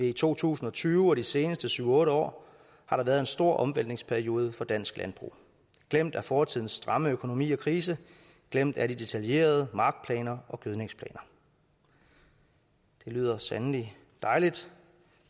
i to tusind og tyve og de seneste syv otte år har der været en stor omvæltningsperiode for dansk landbrug glemt er fortidens stramme økonomi og krise glemt er de meget detaljerede markplaner gødningsplaner det lyder sandelig dejligt